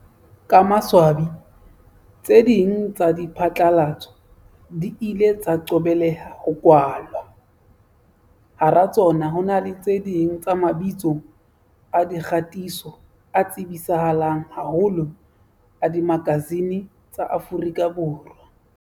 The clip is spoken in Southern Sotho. Ka maswa bi, tse ding tsa diphatlalatso di ile tsa qobeleha ho kwalwa, hara tsona ho na le tse ding tsa mabitso a dikgatiso a tsebisa halang haholo a dimakasine tsa Afrika Borwa.